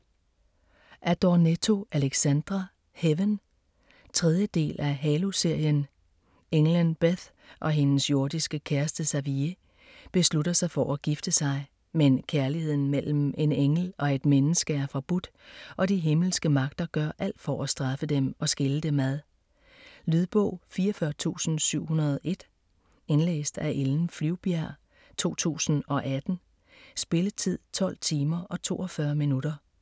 Adornetto, Alexandra: Heaven 3. del af Halo-serien. Englen Beth og hendes jordiske kæreste Xavier beslutter sig for at gifte sig, men kærligheden mellem en engel og et menneske er forbudt, og de himmelske magter gør alt for at straffe dem og skille dem ad. Lydbog 44701 Indlæst af Ellen Flyvbjerg, 2018. Spilletid: 12 timer, 42 minutter.